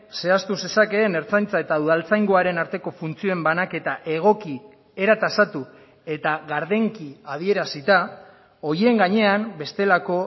zehaztu zezakeen ertzaintza eta udaltzaingoaren arteko funtzioen banaketa egoki era tasatu eta gardenki adierazita horien gainean bestelako